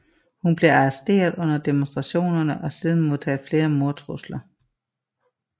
Hun blev arresteret under demonstrationerne og har siden modtaget flere mordtrusler